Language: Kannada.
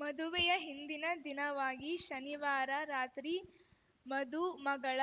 ಮದುವೆಯ ಹಿಂದಿನ ದಿನವಾಗಿ ಶನಿವಾರ ರಾತ್ರಿ ಮಧು ಮಗಳ